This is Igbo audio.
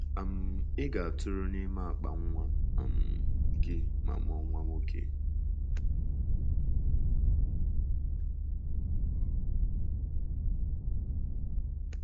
“ um Ị ga - atụrụ ime n’akpa nwa um gị ma mụọ nwa nwoke ”